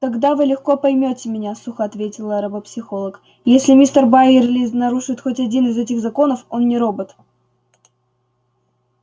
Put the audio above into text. тогда вы легко поймёте меня сухо ответила робопсихолог если мистер байерли нарушит хоть один из этих законов он не робот